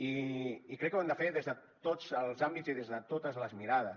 i crec que ho hem de fer des de tots els àmbits i des de totes les mirades